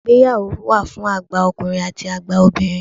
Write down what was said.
Ìgbéyàwó wà fún àgbà ọkùnrin àti àgbà obìnrin.